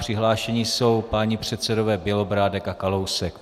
Přihlášeni jsou páni předsedové Bělobrádek a Kalousek.